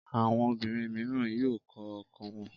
Àwọn obìnrin mìíràn yóò kọ ọkọ wọn.